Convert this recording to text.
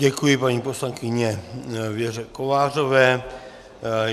Děkuji paní poslankyni Věře Kovářové.